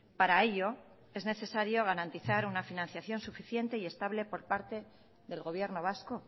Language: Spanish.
para ello es necesario garantizar una financiación suficiente y estable por parte del gobierno vasco